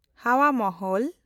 ᱦᱟᱣᱟ ᱢᱚᱦᱚᱞ